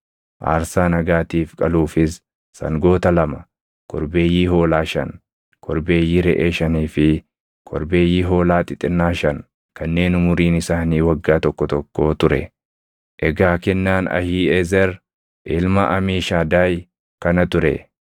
aarsaa nagaatiif qaluufis sangoota lama, korbeeyyii hoolaa shan, korbeeyyii reʼee shanii fi korbeeyyii hoolaa xixinnaa shan kanneen umuriin isaanii waggaa tokko tokkoo ture. Egaa kennaan Ahiiʼezer ilma Amiishadaay kana ture.